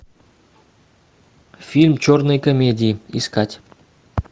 фильм черные комедии искать